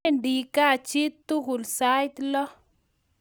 Wendi kaa chi tukul sait lo